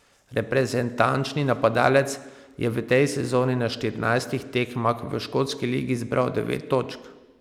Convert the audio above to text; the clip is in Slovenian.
Reprezentančni napadalec je v tej sezoni na štirinajstih tekmah v škotski ligi zbral devet točk.